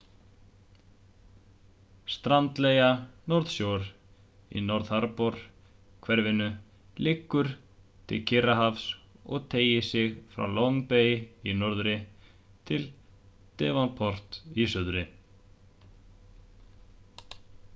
strandlengja north shore í north harbor-hverfinu liggur við kyrrahafið og teygir sig frá long bay í norðri til devonport í suðri